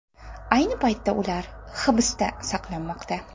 Ayni paytda ular hibsda saqlanmoqda.